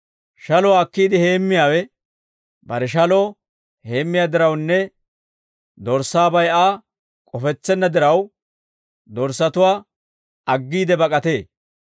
Shaluwaa akkiide heemmiyaawe bare shaloo heemmiyaa dirawunne dorssaabay Aa k'ofetsenna diraw, dorssatuwaa aggiide bak'atee.